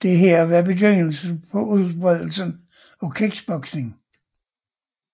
Dette blev begyndelsen på udbredelsen af kickboxing